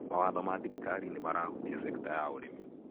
Mawatho ma thirikari nĩmarahutia sekta ya ũrĩmi.